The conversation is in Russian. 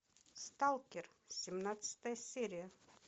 сталкер семнадцатая серия